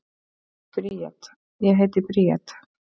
Bríet: Ég heiti Bríet.